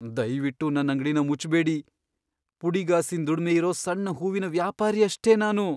ದಯ್ವಿಟ್ಟು ನನ್ ಅಂಗ್ಡಿನ ಮುಚ್ಬೇಡಿ. ಪುಡಿಗಾಸಿನ್ ದುಡ್ಮೆ ಇರೋ ಸಣ್ಣ ಹೂವಿನ್ ವ್ಯಾಪಾರಿ ಅಷ್ಟೇ ನಾನು.